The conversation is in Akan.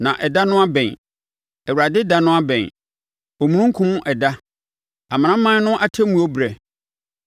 Na ɛda no abɛn, Awurade ɛda no abɛn, omununkum ɛda, amanaman no atemmuo berɛ.